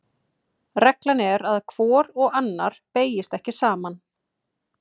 Reglan er að hvor og annar beygjast ekki saman.